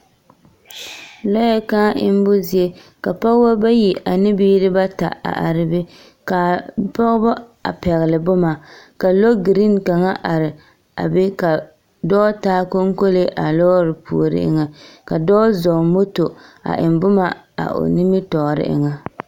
lɔɛ kãã emmo zie, ka pɔgeba bayi ane bibiiri bata are be ka a pɔgeba a pɛgele boma. Ka lɔgiriiŋ kaŋa are a be ka dɔ2ta koŋkolee a lɔɔre puori eŋa. Ka dɔɔ zɔŋ moto a eŋ boma a o nimitɔɔre eŋa.